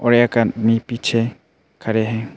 और एक आदमी पीछे खड़े हैं।